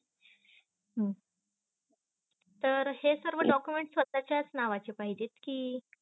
हम्म तर हे सर्व document स्वताचच नावाचे चे पाहिजेत कि.